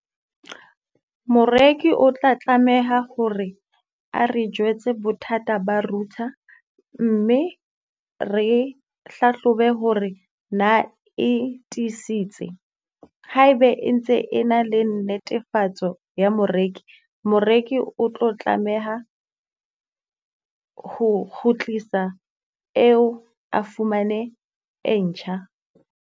Moreki o tla tlameha hore a re jwetse bothata ba router, mme re hlahlobe hore na e tiisitse. Haebe e ntse e na le netefatso ya moreki, moreki o tlo tlameha ho kgutlisa eo a fumane e ntjha.